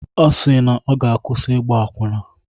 Ọ si na ọ ga-akwụsị ịgba akwụna.